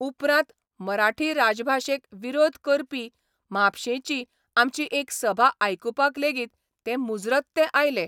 उपरांत मराठी राजभाशेक विरोध करपी म्हापशेंची आमची एक सभा आयकुपाक लेगीत ते मुजरत ते आयले.